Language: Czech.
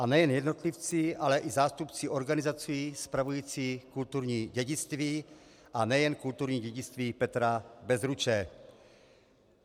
A nejen jednotlivci, ale i zástupci organizací spravujících kulturní dědictví, a nejen kulturní dědictví Petra Bezruče.